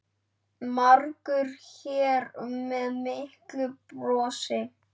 Margur hér við miklu bjóst.